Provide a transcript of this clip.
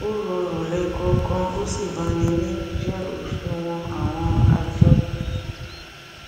ó rọrùn lẹẹkọọkan ó sì bani nínú jẹ òṣùwọn àwọn àjọdún